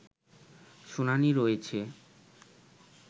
শুনানি রয়েছে